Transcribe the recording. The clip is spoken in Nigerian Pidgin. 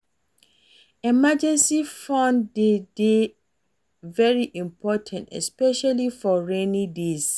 Emergency fund de dey very important especially for rainy days